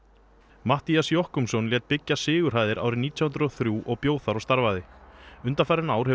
Matthías Jochumsson lét byggja Sigurhæðir árið nítján hundruð og þrjú og bjó þar og starfaði undanfarin ár hefur